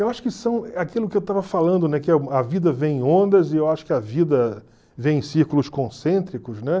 Eu acho que são aquilo que eu estava falando, né, que a vida vem em ondas e eu acho que a vida vem em círculos concêntricos, né?